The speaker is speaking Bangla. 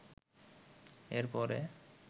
এর পরে